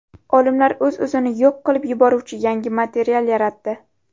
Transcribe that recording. Olimlar o‘z-o‘zini yo‘q qilib yuboruvchi yangi material yaratdi.